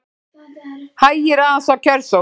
Hægir aðeins á kjörsókn